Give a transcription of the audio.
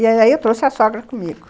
E aí eu trouxe a sogra comigo.